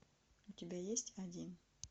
у тебя есть один